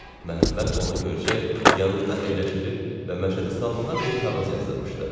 Məhəmməd onu görəcək, yanında əyləşdirib və Məşədi Salmana bir kağız yazdırmışdı.